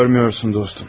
Görmüyorsun dostum.